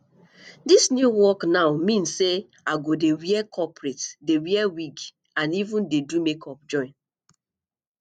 dis new work now mean say i go dey wear corporate dey wear wig and even dey do makeup join